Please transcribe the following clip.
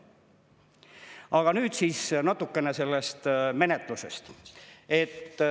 Aga nüüd siis natukene sellest menetlusest.